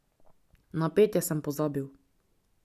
Na petje sem pozabil.